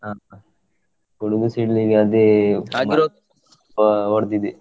ಹಾ ಹಾ ಗುಡುಗು ಸಿಡಿಲಿಗೆ ಅದೇ ಹೊ~ ಹೊಡೆದಿದೆ.